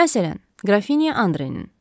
Məsələn, Qrafinya Andrenin.